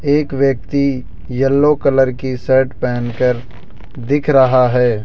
एक व्यक्ति yellow colour की शर्ट पहन कर दिख रहा है।